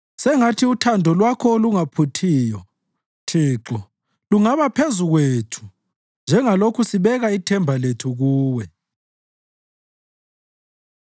Sengathi uthando Lwakho olungaphuthiyo, Thixo, lungaba phezu kwethu njengalokhu sibeka ithemba lethu kuwe.